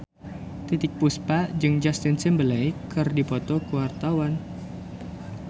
Titiek Puspa jeung Justin Timberlake keur dipoto ku wartawan